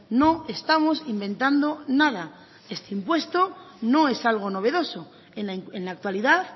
no estamos inventando nada este impuesto no es algo novedoso en la actualidad